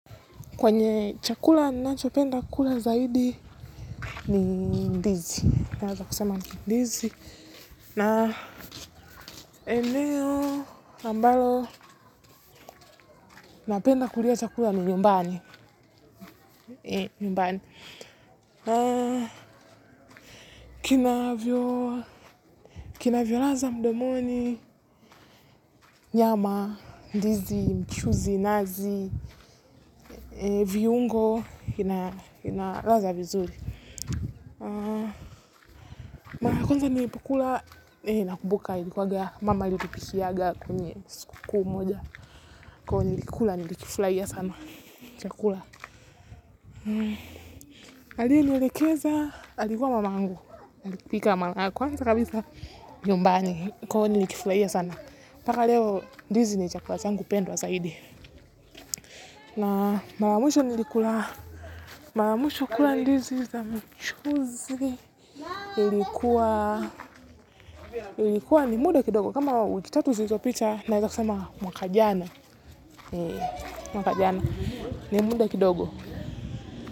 Kwenye chakula, ninancho penda kula zaidi, ni ndizi, naeza kusema ni ndizi, na emeo ambalo, napenda kulia chakula ni nyumbani, ee, nyumbani. Kinavyo, kinavyoladha mdomoni, nyama, ndizi, mchuzi, nazi, viungo, ina ladha vizuri. Mara ya kwanza nilipokula nakumbuka ilikuwa mama alitupikiaga kwenye sikukuu moja kwahio nilikula nilikfurahia sana chakula alienielekeza alikuwa mama yangu alipika mara ya kwanza kabisa nyumbani, kwa hivo nilikifurahia sana, mpaka leo ndizi ni chakula changu pendwa zaidi, na mara ya mwisho nilikula, mara ya mwisho kula ndizi za mchuzi ilikuwa, ilikuwa ni muda kidogo kama wiki ta tu zilizopita, naweza sema mwaka jana, mwaka jana, ni muda kidogo.